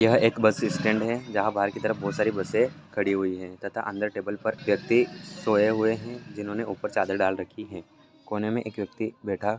यहां एक bus stand है जहां पर बोहोत सारे बसे खड़ी हुई है तथा अंदर टेबल पर व्यक्ति सोये हुए है जिन्होंने ऊपर चादर डाल रखी है कोने मे एक व्यक्ति----